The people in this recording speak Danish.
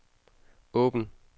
åbn